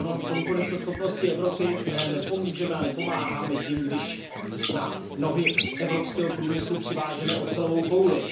Konkurenceschopnosti Evropy nepomůžeme a nepomáháme tím, když na nohy evropského průmyslu přivážeme ocelovou kouli.